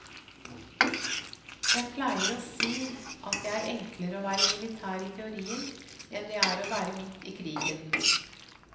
Jeg pleier å si at det er enklere å være militær i teorien, enn det er å være midt i krigen.